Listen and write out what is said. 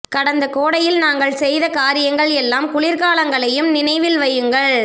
கடந்த கோடையில் நாங்கள் செய்த காரியங்கள் எல்லா குளிர்காலங்களையும் நினைவில் வையுங்கள்